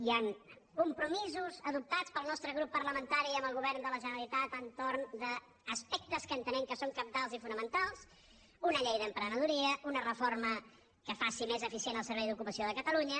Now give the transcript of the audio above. hi han compromisos adoptats pel nostre grup parlamentari amb el govern de la generalitat entorn d’aspectes que entenem que són cabdals i fonamentals una llei d’emprenedoria una reforma que faci més eficient el servei d’ocupació de catalunya